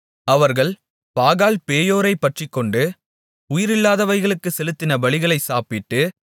அவர்கள் பாகால்பேயோரைப் பற்றிக்கொண்டு உயிரில்லாதவைகளுக்கு செலுத்தின பலிகளை சாப்பிட்டு